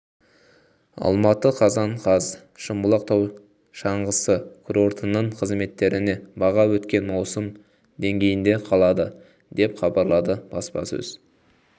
алматы қазан қаз шымбұлақ тау шаңғысы курортының қызметтеріне баға өткен маусым деңгейінде қалады деп хабарлады баспасөз